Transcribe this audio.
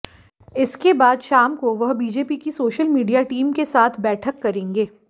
इसके बाद शाम को वह बीजेपी की सोशल मीडिया टीम के साथ बैठक करेंगे